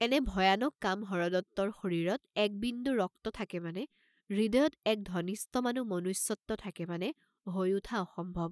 এনে ভয়ানক কাম হৰদত্তৰ শৰীৰত একবিন্দু ৰক্ত থাকে মানে হৃদয়ত এক ধনিষ্টমানো মনুষ্যত্ব থাকে মানে, হৈ উঠা অসম্ভৱ।